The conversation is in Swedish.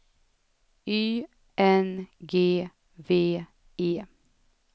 Y N G V E